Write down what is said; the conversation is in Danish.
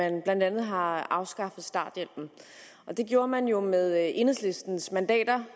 at man blandt andet har afskaffet starthjælpen og det gjorde man jo med enhedslistens mandater